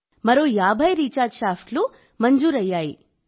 మరో 50 రీఛార్జ్ షాఫ్ట్లు మంజూరయ్యాయి